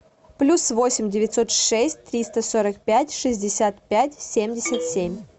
плюс восемь девятьсот шесть триста сорок пять шестьдесят пять семьдесят семь